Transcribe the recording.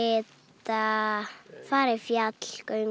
lita fara í fjallgöngu